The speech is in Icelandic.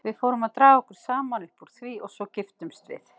Við fórum að draga okkur saman upp úr því og svo giftumst við.